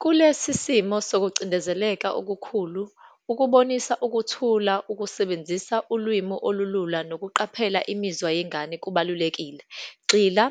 Kulesi simo sokucindezeleka okukhulu, ukubonisa ukuthula, ukusebenzisa ulwimi olulula, nokuqaphela imizwa yengane kubalulekile. Gxila